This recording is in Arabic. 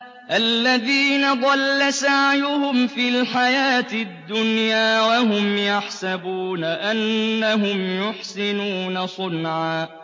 الَّذِينَ ضَلَّ سَعْيُهُمْ فِي الْحَيَاةِ الدُّنْيَا وَهُمْ يَحْسَبُونَ أَنَّهُمْ يُحْسِنُونَ صُنْعًا